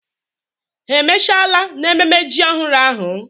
Ha emechala n'ememme ji ọhụrụ ahụ?